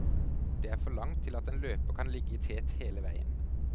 Det er for langt til at en løper kan ligge i tet hele veien.